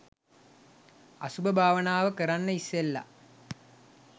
අසුභ භාවනාව කරන්න ඉස්සෙල්ල